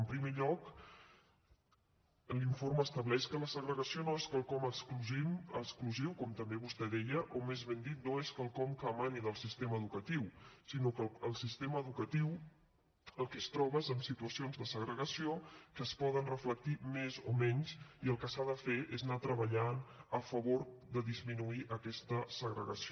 en primer lloc l’informe estableix que la segregació no és quelcom exclusiu com també vostè deia o més ben dit no és quelcom que emani del sistema educatiu sinó que el sistema educatiu el que es troba és amb situacions de segregació que es poden reflectir més o menys i el que s’ha de fer és anar treballant a favor de disminuir aquesta segregació